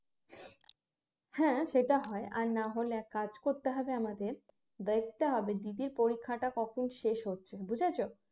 হ্যাঁ সেটা হয় আর না হলে এক কাজ করতে হবে আমাদের দেখতে হবে দিদির পরীক্ষাটা কখন শেষ হচ্ছে বুঝেছ